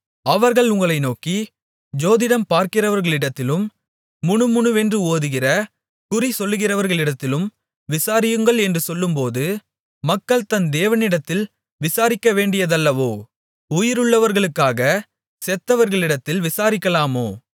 அவர்கள் உங்களை நோக்கி ஜோதிடம் பார்க்கிறவர்களிடத்திலும் முணுமுணுவென்று ஓதுகிற குறி சொல்கிறவர்களிடத்திலும் விசாரியுங்கள் என்று சொல்லும்போது மக்கள் தன் தேவனிடத்தில் விசாரிக்கவேண்டியதல்லவோ உயிருள்ளவர்களுக்காகச் செத்தவர்களிடத்தில் விசாரிக்கலாமோ